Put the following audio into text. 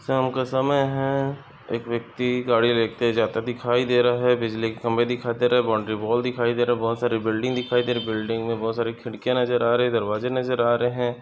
शाम का समय है एक व्यक्ति गाड़ी लेते जाता दिखाई दे रहा है बिजली के खम्बे दिखाई दे रहे बाउंड्री वॉल दिखाई दे रहा बहुत सारी बिल्डिंग दिखाई दे रहे बिल्डिंग मे बहुत सारी खिड़किया नजर आ रही दरवाजे नजर आ रहे।